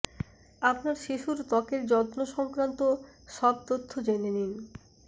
আপনার শিশুর ত্বকের যত্ন সংক্রান্ত সব তথ্য জেনে নিন